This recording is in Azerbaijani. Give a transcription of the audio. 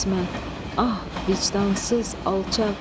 İsmət, ah, vicdansız alçaq.